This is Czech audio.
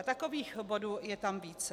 A takových bodů je tam více.